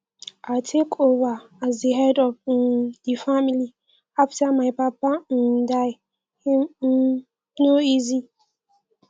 i take over as head of um di family after my papa um die e um no easy